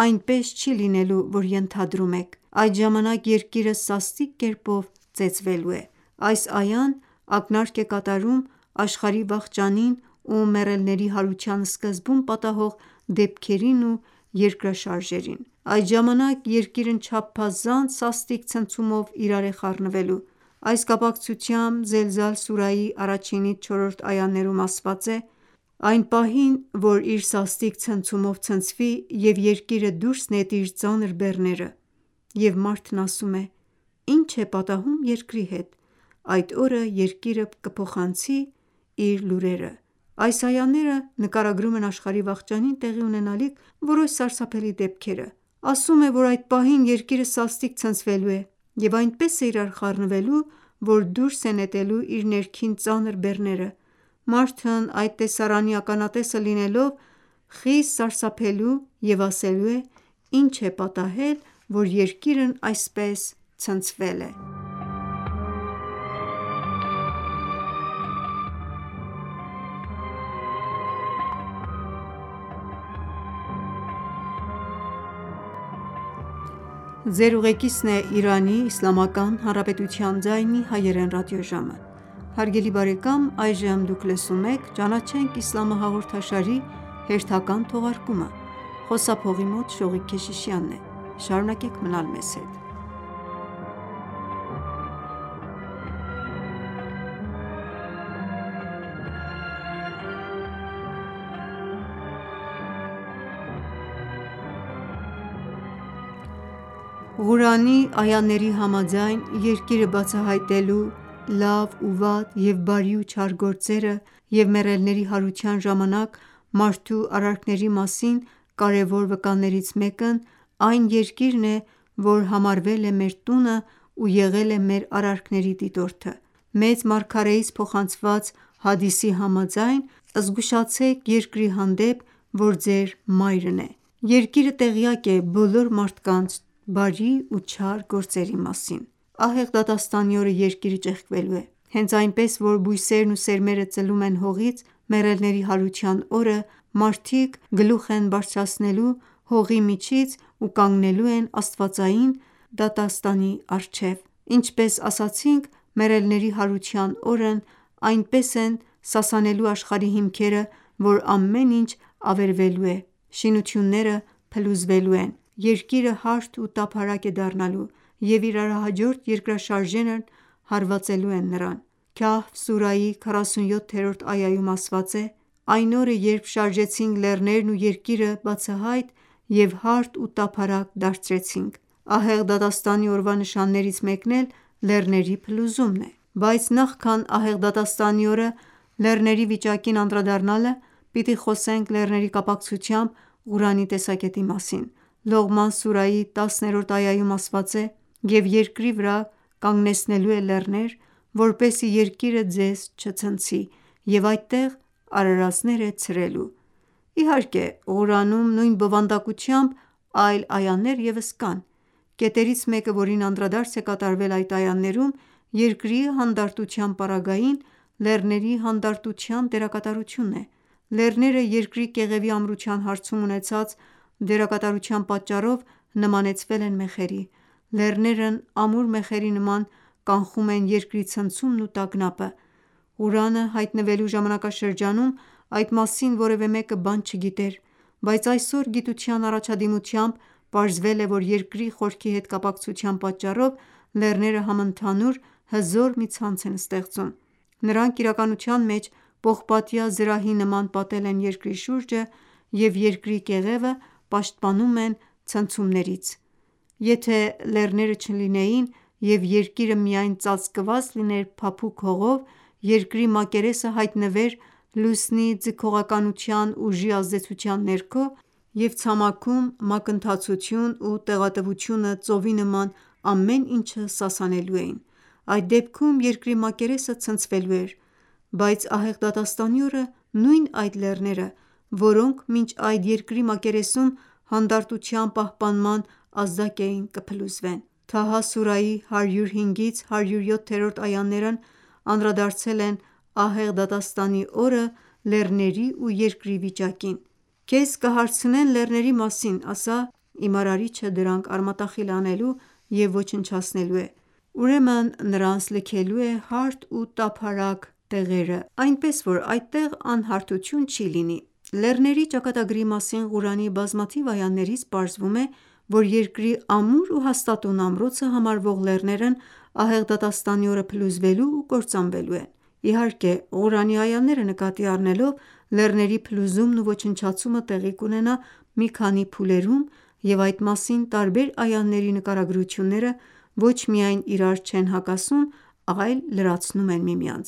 «Այնպես չի լինելու որ ենթադրում եք: Այդ ժամանակ Երկիրը սաստիկ կերպով ծեծվելու է»: («Ֆաջր», 21) Այս այան ակնարկ է կատարում աշխարհի վախճանին ու մեռելների հարության սկզբում պատահող դեպքերին ու երկրաշարժներին: Այդ ժամանակ Երկիրն չափազանց սաստիկ ցնցումով իրար է խառնվելու: Այս կապակցությամբ «Զելզալ» սուրայի 1-ից 4-րդ այաներում ասված է. «Այն պահին, որ իր սաստիկ ցնցումով ցնցվի և Երկիրը դուրս նետի իր ծանր բեռները և մարդն ասում է. «Ի՞նչ է պատահում Երկրի հետ»: Այդ օրը Երկիրը կփոխանցի իր լուրերը»: Այս այաները նկարագրում են աշխարհի վախճանին տեղի ունենալիք որոշ սարսափելի դեպքերը: Ասում է, որ այդ պահին Երկիրը սաստիկ ցնցվելու է և այնպես է իրար խառնվելու, որ դուրս է նետելու իր ներքին ծանր բեռները: Մարդն այդ տեսարանի ականատեսը լինելով խիստ սարսափելու և ասել է. «Ի՞նչ է պատահել, որ Երկիրն այսպես ցնցվել է»: Ղուրանի այաների համաձայն Երկիրը բացահայտելու լավ ու վատ և բարի ու չար գործերը և մեռելների հարության ժամանակ մարդու արարքների մասին կարևոր վկաներից մեկն այն Երկիրն է, որ համարվել է մեր տունն ու եղել է մեր արարքների դիտորդը: Մեծ մարգարեից փոխանցված հադիսի համաձայն. «Զգուշացեք Երկրի հանդեպ, որ ձեր մայրն է: Երկիրը տեղյակ է բոլոր մարդկանց բարի ու չար գործերի մասին»: Ահեղ դատաստանի օրը Երկիրը ճեղքվելու է: Հենց այնպես որ բույսերն ու սերմերը ծլում են հողից, մեռելների հարության օրը մարդիկ էլ գլուխ են բարձրացնելու հողի միջից ու կանգնելու են աստվածային դատարանի դիմաց: Ինչպես ասացինք մեռելների հարության օրն այնպես են սասանելու աշխարհի հիմքերը, որ ամեն ինչ ավերվելու է, շինությունները փլուզվելու են, Երկիրը հարթ ու տափարակ է դառնալու և իրարահաջորդ երկրաշարժներն հարվածելու են նրան: «Քահֆ» սուրայի 47-րդ այաում ասված է. «Այն օրը երբ շարժեցինք լեռներն ու Երկիրը բացահայտ և հարթ ու տափարակ դարձրեցինք»: Ահեղ դատաստանի օրվա նշաններից մեկն էլ լեռների փլուզումն է: Բայց նախքան ահեղ դատաստանի օրը լեռների վիճակին անդրադառնալը, պիտի խոսենք լեռների կապակցությամբ Ղուրանի տեսակետի մասին: «Լողման» սուրայի 10-րդ այաում ասված է. «Եվ Երկրի վրա կանգնեցնելու է լեռներ, որպեսզի Երկիրը ձեզ չցնցի և այդտեղ արարածներ է ցրելու»: Իհարկե Ղուրանում նույն բովանդակությամբ այլ այաներ ևս կան: Կետերից մեկը, որին անդրադարձ է կատարվել այդ այաներում Երկրի հանդարտության պարագային լեռների հանդարտության դերակատարությունն է: Լեռները Երկրի կեղևի ամրության հարցում ունեցած դերակատարության պատճառով նմանեցվել են մեխերի: Լեռներն ամուր մեխերի նման կանխում են Երկրի ցնցումն ու տագնապը: Ղուրանը հայտնվելու ժամանակաշրջանում այդ մասին որևէ մեկը բան չգիտեր, բայց այսօր գիտության առաջադիմությամբ պարզվել է, որ Երկրի խորքի հետ կապակցության պատճառով լեռները համընդհանուր հզոր մի ցանց են ստեղծում: Նրանք իրականության մեջ պողպատյա զրահի նման պատել են Երկրի շուրջը և Երկրի կեղևը պաշտպանում են սաստիկ ցնցումներից: Եթե լեռները չլինեին և Երկիրը միայն ծածկված լիներ փափուկ հողով Երկրի մակերեսը հայտնվեր Լուսնի ձգողականության ուժի ազդեցության ներքո և ցամաքում մակընթացություն ու տեղատվությունը ծովի նման ամեն ինչը սասանելու էին: Այդ դեպքում Երկրի մակերեսը ցնցվելու էր: Բայց ահեղ դատաստանի օրը նույն այդ լեռները, որոնք մինչ այդ Երկրի մակերեսում հանդարտության պահպանման ազդակ էին կփլուզվեն: «Թահա» սուրայի 105-ից 107-րդ այաներն անդրադարձել են ահեղ դատաստանի օրը լեռների ու Երկրի վիճակին: «Քեզ կհարցնեն լեռների մասին, ասա. «Իմ արարիչը դրանք արմատախիլ է անելու և ոչնչացնելու է: Ուրեմն նրանց լքելու է հարթ ու տափարակ, այնպես որ այդտեղ անհարթություններ չեն լինի»: Լեռների ճակատագրի մասին Ղուրանի բազմաթիվ այաներից պարզվում է, որ Երկրի ամուր ու հաստատուն ամրոցը համարվող լեռներն ահեղ դատաստանի օրը փլուզվելու ու կործանվելու են: Իհարկե Ղուրանի այաները նկատի առնելով լեռների փլուզումն ու ոչնչացումը տեղի կունենա մի քանի փուլերում և այդ մասին տարբեր այաների նկարագրությունները ոչ միայն իրար չեն հակասում, այլ լրացնում են միմյանց: